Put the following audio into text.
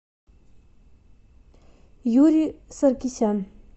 юрий саркисян